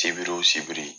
Sibiri wo sibiri